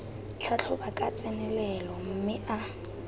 tlhatlhoba ka tsenelelo mme a